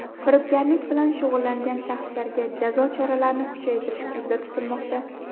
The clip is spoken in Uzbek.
Firibgarlik bilan shug‘ullangan shaxslarga jazo choralarini kuchaytirish ko‘zda tutilmoqda.